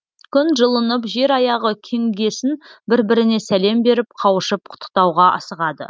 күн жылынып жер аяғы кеңігесін бір біріне сәлем беріп қауышып құттықтауға асығады